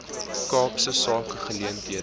kaapse sake geleenthede